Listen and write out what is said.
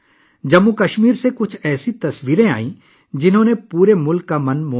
جموں و کشمیر سے کچھ ایسی تصویریں سامنے آئیں جنہوں نے پورے ملک کے دل موہ لیے